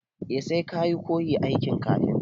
E, sai ka koyi aikin kafinta.